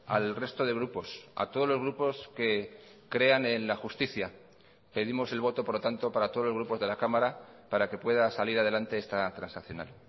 al resto de grupos a todos los grupos que crean en la justicia pedimos el voto por lo tanto para todos los grupos de la cámara para que pueda salir adelante esta transaccional